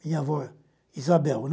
Minha avó, Isabel, né?